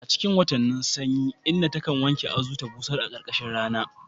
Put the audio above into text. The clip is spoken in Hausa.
A cikin watannin sanyi, inna ta kan wanke azu ta busar a ƙarƙashin rana.